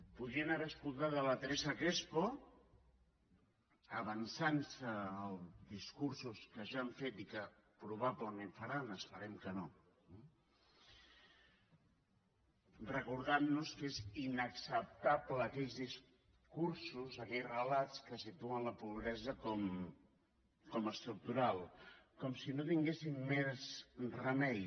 podrien haver sentit la teresa crespo avançant se als discursos que ja han fet i que probablement faran esperem que no recordant nos que són inacceptables aquells discursos aquells relats que situen la pobresa com estructural com si no hi tinguéssim més remei